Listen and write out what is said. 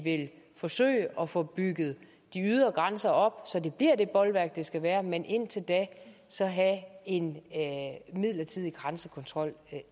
at forsøge at få bygget de ydre grænser op så de bliver det bolværk de skal være men indtil da så have en midlertidig grænsekontrol